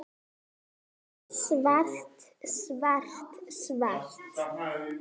Nei, ekki svo